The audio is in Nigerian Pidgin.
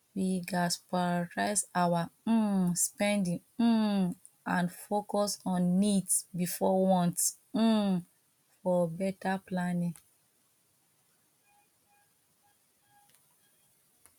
we gats prioritize our um spending um and focus on needs before wants um for beta planning